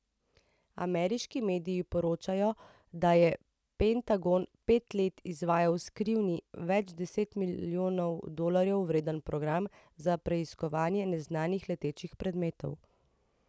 Ameriški mediji poročajo, da je Pentagon pet let izvajal skrivni, več deset milijonov dolarjev vreden program za preiskovanje neznanih letečih predmetov.